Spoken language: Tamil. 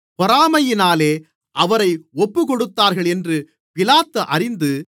பொறாமையினாலே அவரை ஒப்புக்கொடுத்தார்கள் என்று பிலாத்து அறிந்து